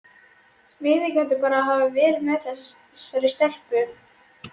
Viðurkenndu bara að hafa verið með þessari stelpu?